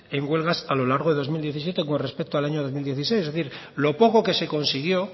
en huelgas a lo largo de dos mil diecisiete con respecto al año dos mil dieciséis es decir lo poco que se consiguió